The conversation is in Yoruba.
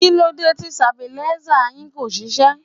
Kí ló dé tí stabilizer yìí kò ṣiṣẹ́?